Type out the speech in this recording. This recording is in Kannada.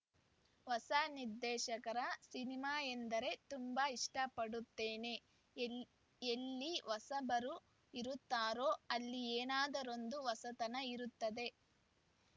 ಹೊಸ ನಿರ್ದೇಶಕರ ಸಿನಿಮಾ ಎಂದರೆ ತುಂಬಾ ಇಷ್ಟಪಡುತ್ತೇನೆ ಎಲ್ ಎಲ್ಲಿ ಹೊಸಬರು ಇರುತ್ತಾರೋ ಅಲ್ಲಿ ಏನಾದರೂಂದು ಹೊಸತನ ಇರುತ್ತದೆ